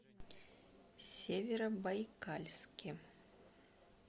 северобайкальске